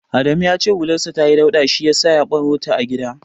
Adamu ya ce hularsa tayi dauɗa shi yasa ya barota a gida.